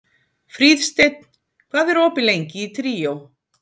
Fríðsteinn, hvað er opið lengi í Tríó?